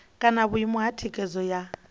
kana vhuimo ha thikhedzo ya